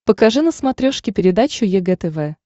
покажи на смотрешке передачу егэ тв